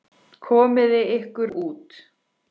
Komiði ykkur út.